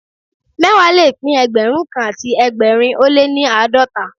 Mẹ́wàá le pín Ẹgbẹ̀rún kan àti ẹgbẹ̀rin ó lé ní àádọ́ta